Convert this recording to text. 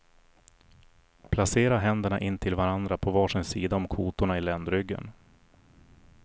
Placera händerna intill varandra på var sin sida om kotorna i ländryggen.